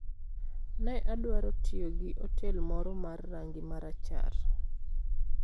Ne adwaro tiyo gi otel moro mar rangi marachar.